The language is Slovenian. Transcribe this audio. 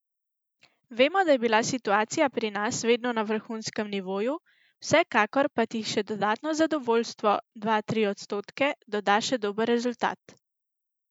Vemo, da je bila situacija pri nas vedno na vrhunskem nivoju, vsekakor pa ti še dodatno zadovoljstvo, dva, tri odstotke doda še dober rezultat.